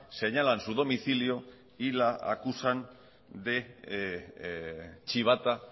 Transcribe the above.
señalan su domicilio y la acusan de chivata